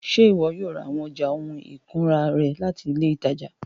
Ṣe iwọ yoo ra awọn ọja ohun ikunra rẹ lati ile itaja?